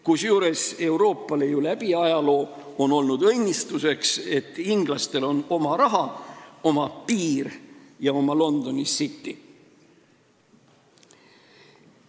Kusjuures Euroopale on ju läbi ajaloo olnud õnnistuseks, et inglastel on oma raha, oma piir ja oma Londoni City.